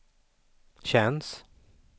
känns